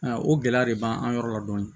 o gɛlɛya de b'an yɔrɔ la dɔni